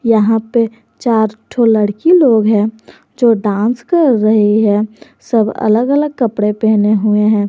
यहां पे चार ठो लड़की लोग हैं जो डांस कर रही हैं सब अलग अलग कपड़े पहने हुए हैं।